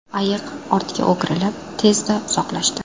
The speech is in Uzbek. Ayiq ortga o‘girilib, tezda uzoqlashdi.